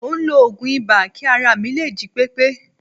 Mò ń lo oògùn ibà kí ara mi lè jí pépé